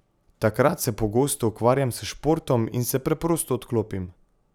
Takrat se pogosto ukvarjam s športom in se preprosto odklopim.